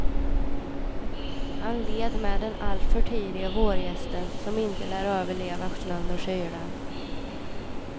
Han led med den allt för tidiga vårgästen, som inte lär överleva snön och kylan.